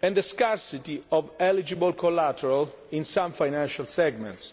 and the scarcity of eligible collateral in some financial segments.